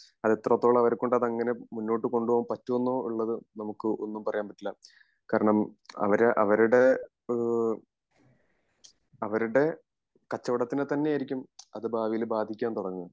അത് എത്രത്തോളം അവരെ കൊണ്ട് മുന്നോട്ട് കൊണ്ട് പോകാൻ പറ്റുമോ എന്നുള്ളത് നമുക്ക് ഒന്നും പറയാൻ പറ്റില്ല കാരണം അവര് അവരുടെ ഈഹ് അവരുടെ കച്ചവടത്തിനെ തന്നെ ആയിരിക്കും അത് ഭാവിയിൽ ബാധിക്കാൻ തൊടങ്ങേ